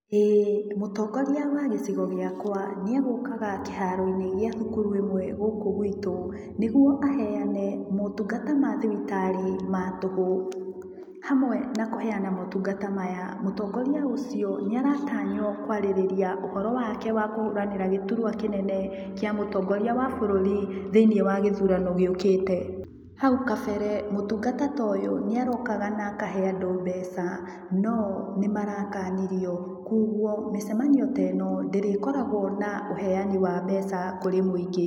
Ĩĩ mũtongoria wa gĩcigo gĩakwa nĩegũkaga kĩharo-inĩ gĩa cukuru ĩmwe gũkũ gwitũ nĩguo ahenyane motungata mathibitarĩ ma tũhũ. Hamwe na kũhenyana motungata maya mũtongoria ũcio nĩ aratanywo kũarĩrĩria ũhoro wake wakũhũranĩra gĩturwa kĩnene kĩa mũtongoria wa bũrũri thĩiniĩ wa gĩthurano gĩ ũkĩte. Hau kambere mũtungata ta ũyũ nĩ arokaga na akahe andũ mbeca, no nĩ marakanirio koguo mĩcemanio ta ĩno ndĩrĩ koragwo na ũheyani wa mbeca kũrĩ mũingĩ.